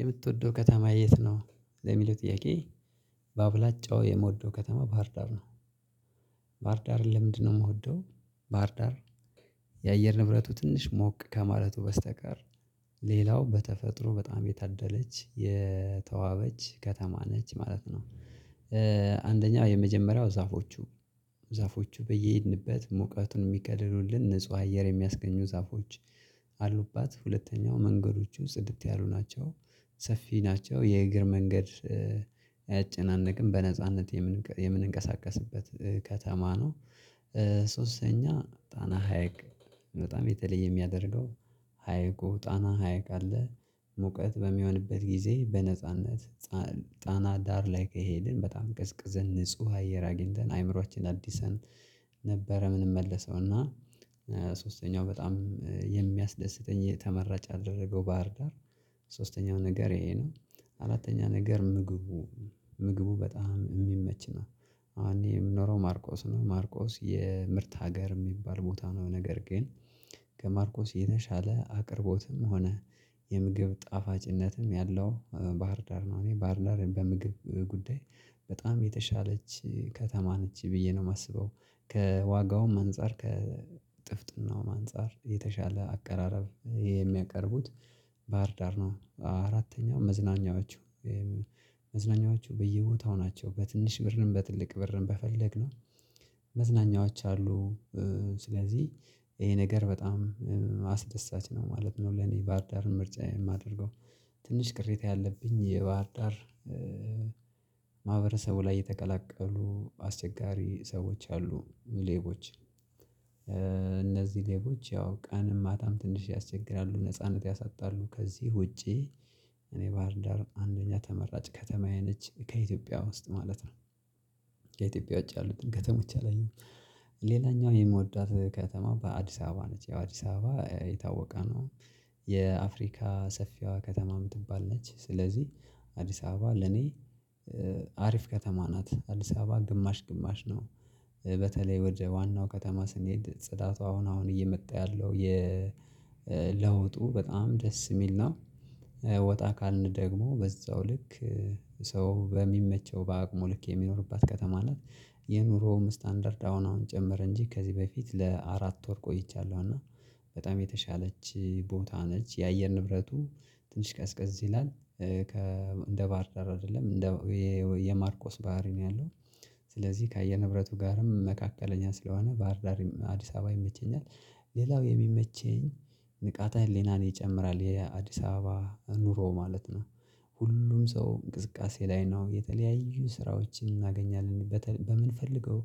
የምትወደው ከተማ የት ነው ለሚለው ጥያቄ። በአብላጫው የምወደው ከተማ ባህርዳር ነው። ባህርዳርን ለምንድነው የምወደው? ባህርዳር የአየር ንብረቱ ትንሽ ሞቅ ከማለቱ በስተቀር ሌላው በተፈጥሮ በጣም የታደለች የተዋበች ከተማ ነች ማለት ነው። አንደኛው የመጀመሪያው ዛፎቹ ዛፎቹ በየሄድንበት ሙቀቱን የሚከልሉልን ንጹህ አየር የሚያስገኙ ዛፎች። አሉባት ሁለተኛው መንገዶቹ ጽድት ያሉ ናቸው። ሰፊ ናቸው የእግር መንገድ አያጨናንቅም በነጻነት የምንንቀሳቀስበት ከተማ ነው። ሶስተኛ ጣና ሀይቅ በጣም የተለየ የሚያደርገው ሀይቁ ጣና ሀይቅ አለ ሙቀት በሚሆንበት ጊዜ በነጻነት ጣና ዳር ላይ ከሄድን በጣም ቀዝቅዘን ንጹህ አየር አግኝተን አዕምሯችንን አድሰን። ነበር የምንመለሰው እና ሶስተኛው በጣም የሚያስደስተኝ ተመራጭ ያደረገው ባህር ዳር ሶስተኛው ነገር ይሄ ነው። አራተኛ ነገር ምግቡ ምግቡ በጣም የሚመች ነው። አሁን እኔ የምኖረው ማርቆስ ነው ማርቆስ የምርት ሀገር የሚባል ቦታ ነው። ነገር ግን ከማርቆስ የተሻለ አቅርቦትም ሆነ የምግብ ጣፋጭነትም ያለው ባህርዳር ነው። እኔ ባህርዳር በምግብ ጉዳይ በጣም የተሻለች ከተማ ነች ብዬ ነው የማስበው። ከዋጋውም አንፃር ከጥፍጥናውም አንፃር የተሻለ አቀራረብ የሚያቀርቡት ባህርዳር ነው። አራተኛው መዝናኛዎቹ መዝናኛዎቹ በየቦታው ናቸው በትንሽ ብርንም በትልቅ ብርንም በፈለግነው መዝናኛዎች አሉ። ስለዚህ ይሄ ነገር በጣም አስደሳች ነው ማለት ነው ለኔ ባህርዳርን ምርጫዬ የማደርገው። ትንሽ ቅሬታ ያለብኝ የባህርዳር ላይ የተቀላቀሉ አስቸጋሪ ሰዎች አሉ ሌቦች እነዚህ ሌቦች ያው ቀን ማታም ትንሽ ያስቸግራሉ ነጻነት ያሳጣሉ ከዚህ ውጪ። እኔ ባህርንዳር አንደኛ ተመራጭ ከተማዬ ነች ከኢትዮጵያ ውስጥ ማለት ነው። ከኢትዮጵያ ውጪ ያሉትን ከተሞች አይደለም። ሌላኛው የምወዳት ከተማ አዲስ አበባ ነች ያው አዲስ አበባ የታወቀ ነው። የአፍሪካ ሰፊዋ ከተማ የምትባል ነች። ስለዚህ አዲስ አበባ ለኔ አሪፍ ከተማ ናት። አዲስ አበባ ግማሽ ግማሽ ነው። በተለይ ወደ ዋናው ከተማ ስንሄድ ጽዳቷ አሁን አሁን እየመጣ ያለው የ ለውጡ በጣም ደስ የሚል ነው። ወጣ ካልን ደግሞ በዛው ልክ ሰው በሚመቸው በአቅሙ ልክ የሚኖርባት ከተማ ናት። የኑሮውም ስታንዳርድ አሁን አሁን ጨመረ እንጂ ከዚህ በፊት ለአራት ወር ቆይቻለሁ እና በጣም የተሻለች ቦታ ነች። የአየር ንብረቱ ትንሽ ቀዝቀዝ ይላል። ከ እንደ ባህር ዳር አይደለም እንደ የማርቆስ ባህሪ ነው ያለው ስለዚህ ከአየር ንብረቱ ጋርም መካከለኛ ስለሆነ ባህር ዳርም አዲስ አበባም ይመቸኛል። ሌላው የሚመቸኝ ንቃተ ህሊናን ይጨምራል የአዲስ አበባ ኑሮ ማለት ነው። ሁሉም ሰው እንቅስቃሴ ላይ ነው የተለያዩ ስራዎችን እናገኛለን በምንፈልገው